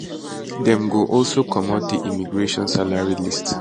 dem go also commot di immigration salary list